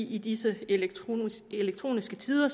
i disse elektroniske elektroniske tider